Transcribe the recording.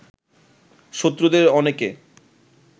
শত্রুদের অনেকে